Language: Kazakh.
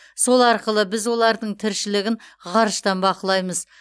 сол арқылы біз олардың тіршілігін ғарыштан бақылаймыз